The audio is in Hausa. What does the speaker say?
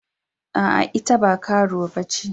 Aa, ita ba karuwa ba ce.